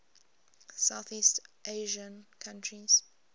southeast asian countries